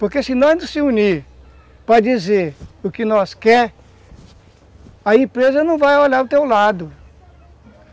Porque se nós não nos unirmos para dizer o que nós queremos, a empresa não vai olhar para o teu lado.